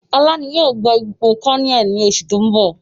Ọlá yìí ó gbà ipò kọnẹ́ẹ́lì ni oṣù tóun bọ̀